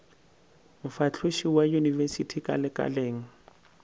mofahloši wa yunibesithi ka lekaleng